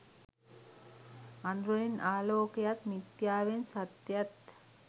අඳුරෙන් ආලෝකයත් මිත්‍යාවෙන් සත්‍යයත්